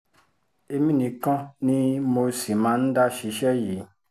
èmi nìkan ni mo sì máa ń dá ṣiṣẹ́ yìí